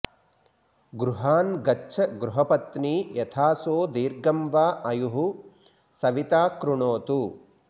गृहान् गच्छ गृहपत्नी यथासो दीर्घं व अायुः सविता कृणोतु